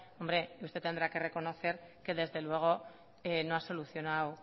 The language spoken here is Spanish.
hombre usted tendrá que reconocer que desde luego no ha solucionado